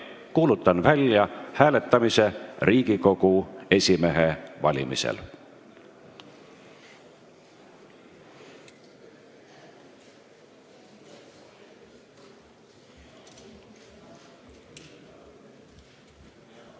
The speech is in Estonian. Kuulutan välja hääletamise Riigikogu esimehe valimisel.